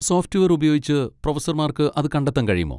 Software ഉപയോഗിച്ച് പ്രൊഫസർമാർക്ക് അത് കണ്ടെത്താൻ കഴിയുമോ?